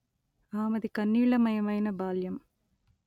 ఆమెది కన్నీళ్లమయమైన బాల్యం